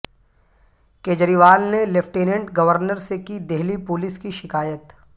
کیجریوال نے lieutenant governor سے کی دہلی پولیس کی شکایت